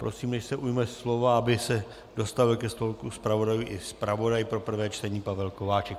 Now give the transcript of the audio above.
Prosím, než se ujme slova, aby se dostavil ke stolku zpravodajů i zpravodaj pro prvé čtení Pavel Kováčik.